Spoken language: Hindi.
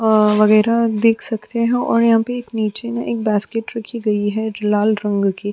वगैरह देख सकते हो और यहाँ पे एक नीचे में एक बास्केट रखी गई है लाल रंग की --